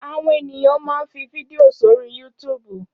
Áwòn éniyàn mà n fi fídìó sóri yútúbú